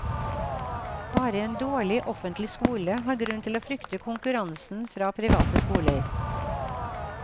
Bare en dårlig offentlig skole har grunn til å frykte konkurransen fra private skoler.